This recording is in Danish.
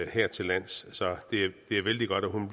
hertillands så det er vældig godt at hun